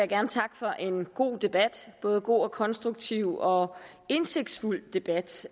gerne takke for en god debat både god konstruktiv og indsigtsfuld debat